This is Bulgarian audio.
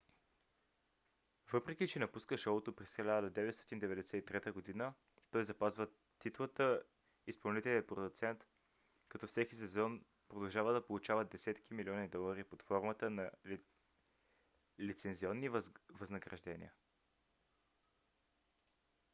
въпреки че напуска шоуто през 1993 г. той запазва титлата изпълнителен продуцент като всеки сезон продължава да получава десетки милиони долари под формата на лицензионни възнаграждения